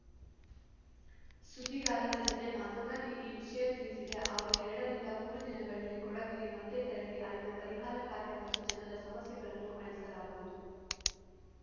ಸುದ್ದಿಗಾರರ ಜತೆ ಮಾತನಾಡಿ ಈ ವಿಷಯ ತಿಳಿಸಿದ ಅವರು ಎರಡರಿಂದ ಮೂರು ದಿನದಲ್ಲಿ ಕೊಡಗಿಗೆ ಮತ್ತೆ ತೆರಳಿ ಅಲ್ಲಿನ ಪರಿಹಾರ ಕಾರ್ಯ ಮತ್ತು ಜನರ ಸಮಸ್ಯೆಗಳನ್ನು ಆಲಿಸಲಾಗುವುದು